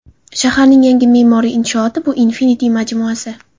Shaharning yangi me’moriy inshooti bu Infinity majmuasi.